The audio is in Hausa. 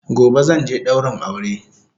Gobe zanje daurin aure